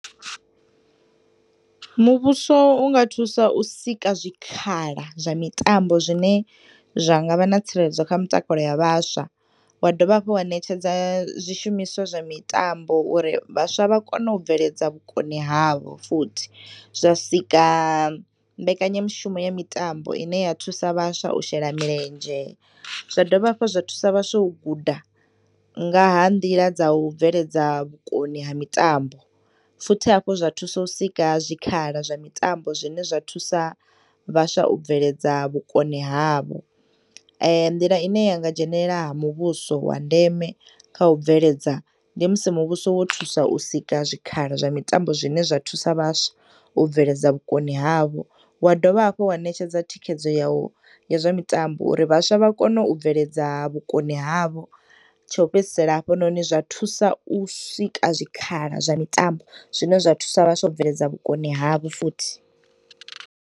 Muvhuso unga thusa u sika zwikhala zwa mitambo zwine zwangavha na tsireledzo kha mtakalo ya vhaswa wadovha hafhu wa netshedza zwishumswa zwa mitambo uri vhaswa vha kone ubveledza vhukoni havho futhi zwa sika mbekanyamushumo ya mitambo ine ya thusa vhaswa. U shela milendzhe zwa dovha hafhu zwa thusa vhaswa u guda ngaha nḓila dza u bveledza vhukoni ha mitambo, futhi hafhu zwa thusa u sika zwi khala zwa mitambo zwine zwa thusa vhaswa u bveledza vhukoni havho. Nḓila ine yanga dzhenelela ha muvhuso wa ndeme kha u bveledza, ndi musi muvhuso wo thusa u sia zwikhala zwa mitambo zwine zwa thusa vhaswa u bveledza vhUkoni havho, wa dovha hafhu wa nekedza thikedzo ya u ya zwa mitambo uri vhaswa vha kone u bveledza vhukoni havho tsho fhedzisela hafhunoni zwa thusa u sika zwikhala zwa mitambo zwine zwa thusa vhaswa u bveledza vhukoni havho futhi.